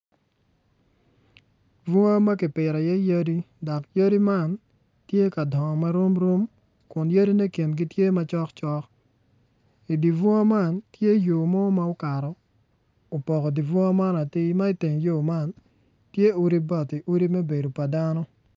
Bunga ma kipito iye yadi dok yadi man tye ka dongo marom rom kun yadine kingi tye macok cok idi bunga man tye yo mo ma okato opoko di bunga man atir ma iteng yo man tye odi bati odi me bedo pa dano.